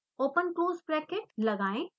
open close bracket लगाएं